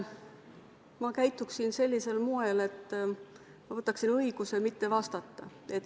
Ma käituksin sellisel moel, et ma võtaksin õiguse mitte vastata.